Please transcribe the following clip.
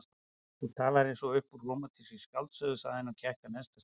Þú talar eins og upp úr rómantískri skáldsögu sagði hann og gekk að neðsta stigaþrepinu.